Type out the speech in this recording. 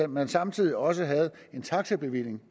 man samtidig også havde en taxabevilling